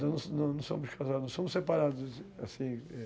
Não, não somos casados, somos separados assim.